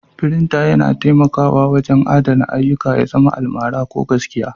Frinting yana taimakawa wajen adana ayyuka, ya zama almara ko gaskiya.